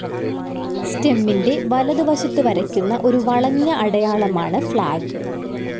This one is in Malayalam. സ്റ്റെമ്മിന്റെ വലതുവശത്ത് വരയ്ക്കുന്ന ഒരു വളഞ്ഞ അടയാളമാണ് ഫ്ലാഗ്.